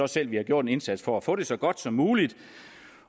selv vi har gjort en indsats for at få det gjort så godt som muligt